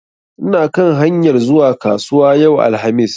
Ina kan hanyar zuwa kasuwa yau alhamis.